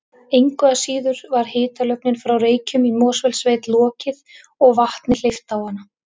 Engu að síður var hitalögninni frá Reykjum í Mosfellssveit lokið og vatni hleypt á hana